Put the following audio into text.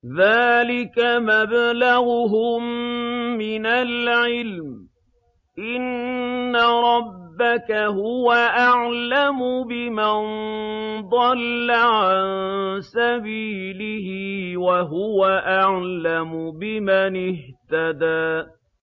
ذَٰلِكَ مَبْلَغُهُم مِّنَ الْعِلْمِ ۚ إِنَّ رَبَّكَ هُوَ أَعْلَمُ بِمَن ضَلَّ عَن سَبِيلِهِ وَهُوَ أَعْلَمُ بِمَنِ اهْتَدَىٰ